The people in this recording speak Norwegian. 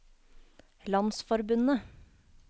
landsforbundet